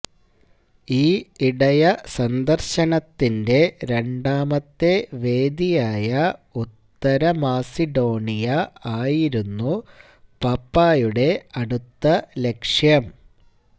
ഈ ഇടയസന്ദര്ശനത്തിന്റെ രണ്ടാമത്തെവേദിയായ ഉത്തരമാസിഡോണിയ ആയിരുന്നു പാപ്പായുടെ അടുത്ത ലക്ഷ്യം